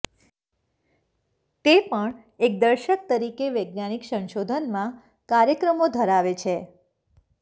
તે પણ એક દર્શક તરીકે વૈજ્ઞાનિક સંશોધનમાં કાર્યક્રમો ધરાવે છે